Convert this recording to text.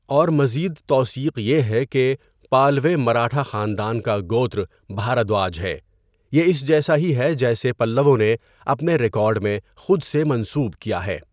اور مزید توثیق یہ ہے کہ پالوے مراٹھا خاندان کا گوتر بھاردواج ہے، یہ اس جیسا ہی ہے جسے پلّووں نے اپنے ریکارڈ میں خود سے منسوب کیا ہے۔